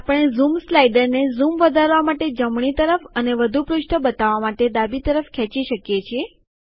આપણે ઝૂમ સ્લાઈડરને ઝૂમ વધારવા માટે જમણી તરફ અને વધુ પૃષ્ઠો બતાવવા માટે ડાબી તરફ ખેંચી શકીએ છીએ